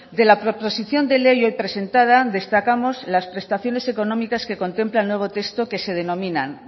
de la proposición de ley hoy presentada destacamos las prestaciones económicas que contempla el nuevo texto que se denominan